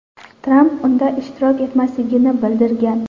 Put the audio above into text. Tramp unda ishtirok etmasligini bildirgan .